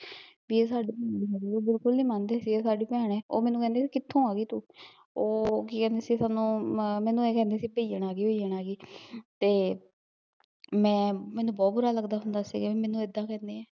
ਵੀ ਏਹ ਸਾਡੇ ਨਾਲ਼ ਬਿਲਕੁਲ ਨੀ ਮਨਦੇ ਸੀਗੇ ਵੀ ਏਹ ਸਾਡੀ ਭੈਣ ਐ ਓਹ ਮੈਨੂੰ ਕਹਿੰਦੇ ਸੀ ਵੀ ਕਿਥੋਂ ਆਗੀ ਤੂੰ ਓਹ ਕੀ ਕਹਿੰਦੇ ਸੀ ਸਾਨੂੰ, ਮੈਨੂੰ ਏਹ ਕਹਿੰਦੇ ਸੀ ਬਈਅਣ ਆਗੀ ਬਈਅਣ ਆਗੀ ਤੇ ਮੈਂ ਮੈਨੂੰ ਬਹੁਤ ਬੁਰਾ ਲੱਗਦਾ ਹੁੰਦਾ ਸੀਗਾ ਵੀ ਮੈਨੂੰ ਏਦਾ ਕਹਿੰਦੇ ਐ